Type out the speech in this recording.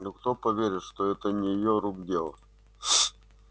но кто поверит что это не его рук дело